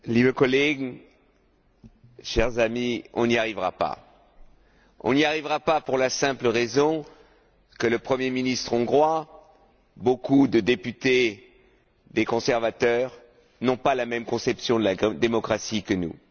Monsieur le Président, chers amis, nous n'y arriverons pas. Nous n'y arriverons pas pour la simple raison que le Premier ministre hongrois et beaucoup de députés, des conservateurs, n'ont pas la même conception de la démocratie que nous.